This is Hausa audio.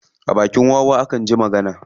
A bakin wawa akan ji magana.